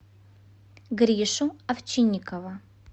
гришу овчинникова